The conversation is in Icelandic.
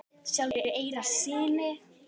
sjálfur í eyra syni?